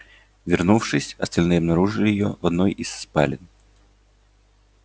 вернувшись остальные обнаружили её в одной из спален